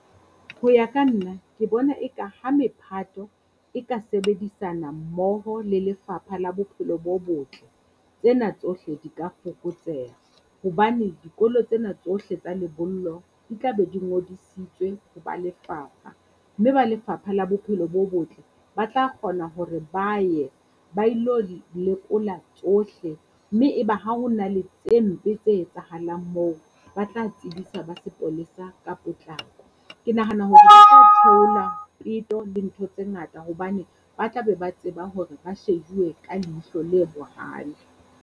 Ho ya ka nna ke bona eka ha mephato e ka sebedisana mmoho le Lefapha la Bophelo bo Botle, tsena tsohle di ka fokotseha. Hobane dikolo tsena tsohle tsa lebollo di tla be di ngodisitswe ho ba lefapha, mme ba Lefapha la Bophelo bo Botle ba tla kgona hore ba ye ba ilo lekola tsohle mme e be ha ho na le tse mpe tse etsahalang moo, ba tla tsebisa ba sepolesa ka potlako. Ke nahana hore ho tla theola peto le ntho tse ngata, hobane ba tla be ba tseba hore ba shejuwe ka leihlo le bohale.